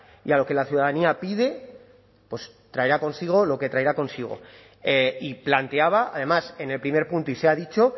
y a lo que la ciudadanía pide traerá consigo lo que traerá consigo y planteaba además en el primer punto y se ha dicho